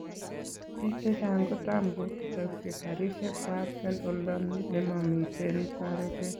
"Biik chechang kotamko butaskei karisiek kwak en oldo nemamiten toretet